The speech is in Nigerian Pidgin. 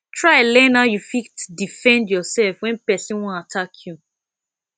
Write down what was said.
try learn how you fit defend yourself when persin won attack you